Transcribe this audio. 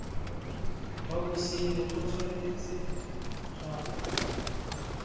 wa bosenyi go tshwanetse ga